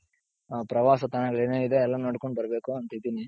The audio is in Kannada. ಆ ಪ್ರವಾಸ ತಾಣಗಳು ಏನೇನಿದೆ ಎಲ್ಲಾ ನೋಡ್ಕೊಂಡ್ ಬರ್ಬೇಕು ಅಂತ ಇದ್ದೀನಿ.